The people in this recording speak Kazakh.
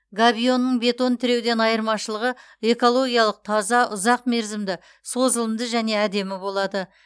габионның бетон тіреуден айырмашылығы экологиялық таза ұзақ мерзімді созылымды және әдемі болады